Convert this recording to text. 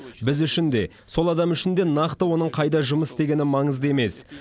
біз үшін де сол адам үшін де нақты оның қайда жұмыс істегені маңызды емес